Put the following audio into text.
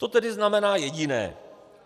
To tedy znamená jediné.